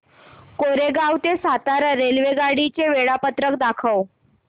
कोरेगाव ते सातारा रेल्वेगाडी चे वेळापत्रक दाखव